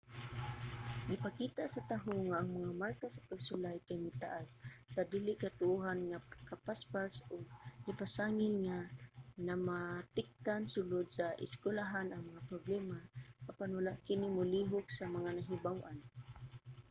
gipakita sa taho nga ang mga marka sa pagsulay kay mitaas sa dili katuohan nga kapaspas ug nipasangil nga namakatikdan sulod sa eskuylahan ang mga problema apan wala kini molihok sa mga nahibaw-an